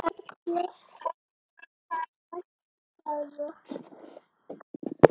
Erla: Og verður næstu daga?